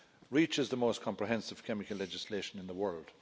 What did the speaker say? Reach is the most comprehensive chemical legislation in the world.